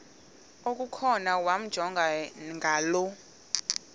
okukhona wamjongay ngaloo